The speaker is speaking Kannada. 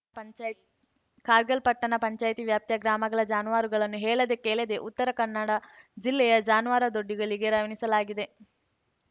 ಪಂಚಾಯ್ ಕಾರ್ಗಲ್‌ ಪಟ್ಟಣ ಪಂಚಾಯ್ತಿ ವ್ಯಾಪ್ತಿಯ ಗ್ರಾಮಗಳ ಜಾನುವಾರುಗಳನ್ನು ಹೇಳದೇ ಕೇಳದೆ ಉತ್ತರ ಕನ್ನಡ ಜಿಲ್ಲೆಯ ಜಾನುವಾರು ದೊಡ್ಡಿಗಳಿಗೆ ರವಾನಿಸಲಾಗಿದೆ